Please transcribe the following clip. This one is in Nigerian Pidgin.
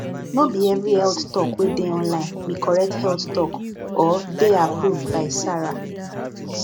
no be every health talk wey dey online be correct health talk or dey approved by sara